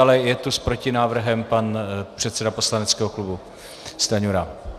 Ale je tu s protinávrhem pan předseda poslaneckého klubu Stanjura.